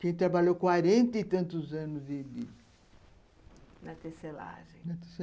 que trabalhou quarenta e tantos anos de de... na tecelagem...